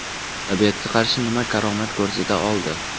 Tabiatga qarshi nima karomat ko‘rsata oldi?